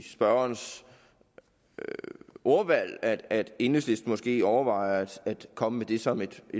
sørensens ordvalg at enhedslisten måske overvejer at komme med det som et